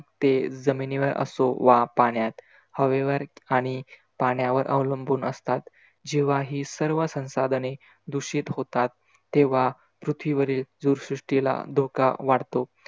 ते जमिनीवर असो वा पाण्यात हवेवर आणि पाण्यावर अवलंबून असतात. जेव्हा ही सर्व संसाधने दुषित होतात तेव्हा पृथ्वीवरील जीवसृष्टीला धोका वाढतो.